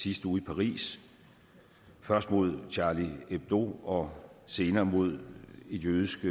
sidste uge i paris først mod charlie hebdo og senere mod et jødisk